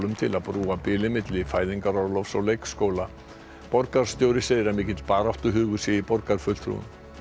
til að brúa bilið milli fæðingarorlofs og leikskóla borgarstjóri segir að mikill baráttuhugur sé í borgarfulltrúum